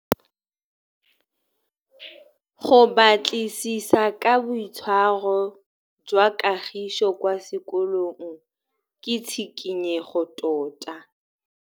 Go batlisisa ka boitshwaro jwa Kagiso kwa sekolong ke tshikinyêgô tota.